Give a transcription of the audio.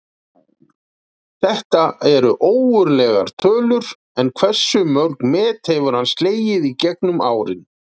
Þetta eru ógurlegar tölur, en hversu mörg met hefur hann slegið í gegnum árin?